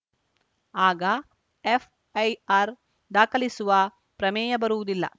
ಆಗ ಎಫ್‌ಐಆರ್‌ ದಾಖಲಿಸುವ ಪ್ರಮೇಯ ಬರುವುದಿಲ್ಲ